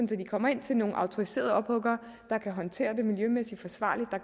de kommer ind til nogle autoriserede ophuggere som kan håndtere det miljømæssigt forsvarligt og